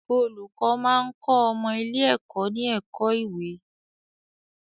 Olùkọ́ máa ń kọ́ ọmọ ilé-ẹ̀kọ́ ní ẹ̀kọ́ ìwé